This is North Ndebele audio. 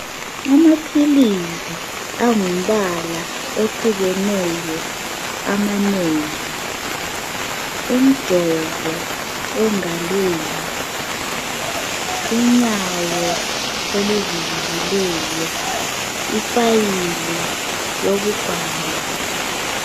Amaphilisi angumbala ohlukeneyo amanengi, umjovo engalweni, unyawo oluvuvukileyo, ifayili yokubhala.